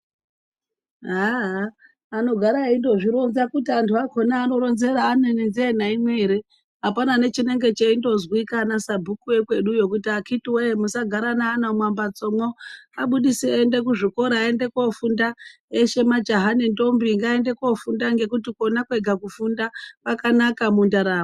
Haaa Haa aa, anogara eindozvironza kuti anthu akhona aanoronzera ane nenzeye naimwe ere. Apana nechinonga cheimbozikwa ana sabhuku ekweduyo kuti akhiti wee musagara neana mumambatso mwo abudisei eiende kuzvikora koofunda, eshe majaha nendombi ngaaende koofunda ngekuti khona kwega kufunda kwakanaka mundaramo.